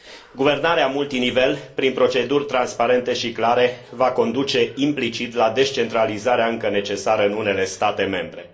Guvernarea multinivel prin proceduri transparente și clare va conduce implicit la descentralizarea încă necesară în unele state membre.